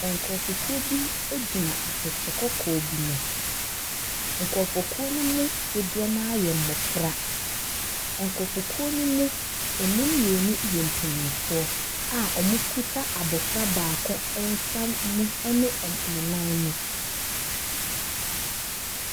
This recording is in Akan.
Nkurɔfokuo bi gyina atɛkyɛ kɔkɔɔ bi mu, nkorɔfokuo ne mu dodoɔ no ara yɛ mmɔfra. Nkurɔfokuo ne mu, ɛmu mmienu yɛ mpanimfoɔ a wɔkita abɔfra baako nsa mu ne ɔ ne nan mu.